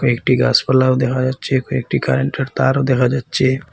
একটি গাসপালাও দেখা যাচ্ছে কয়েকটি কারেন্টের তারও দেখা যাচ্ছে।